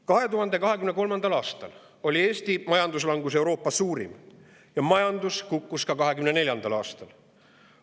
2023. aastal oli Eesti majanduslangus Euroopa suurim ja majandus kukkus ka 2024. aastal.